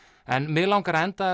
en mig langar að enda